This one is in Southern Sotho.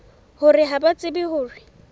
hore ha ba tsebe hore